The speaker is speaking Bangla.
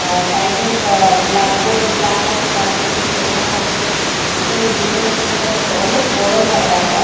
আ সাইড -এ বা ব্ল্যাকবোর ব্ল্যাক আছে ব্ল্যাকবোর্ড -এ কিছু লেখানো আছে উপরে ভিউ -টাও সুন্দর আছে অনেক বড় জাগা এটা।